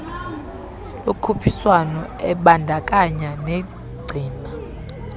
lokhuphiswano ebandakanya negcina